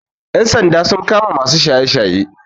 Ƴan sanda sun kama masu shaye shaye